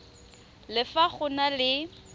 le fa go na le